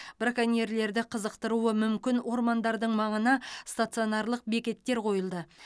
браконьерлерді қызықтыруы мүмкін ормандардың маңына стационарлық бекеттер қойылды